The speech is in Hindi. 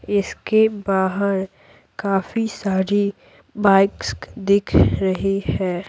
इसके बाहर काफी सारी बाइक्स दिख रही है।